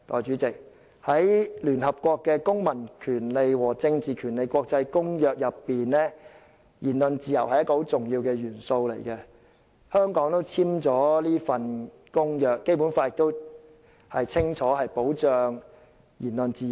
在聯合國《公民權利和政治權利國際公約》下，言論自由是一個很重要的元素，香港是這項公約的締約方之一，而《基本法》亦清楚保障了言論自由。